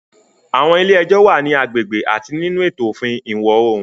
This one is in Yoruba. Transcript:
Àwọn ilé ẹjọ́ wà ní agbègbè àti nínú ètò òfin Ìwọ̀ Oòrùn.